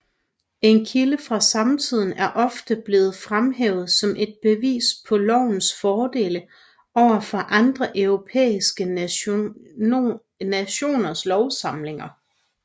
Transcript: En kilde fra samtiden er ofte blevet fremhævet som et bevis på lovens fordele overfor andre europæiske nationers lovsamlinger